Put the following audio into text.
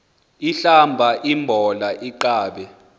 ahlamba imbola aqabe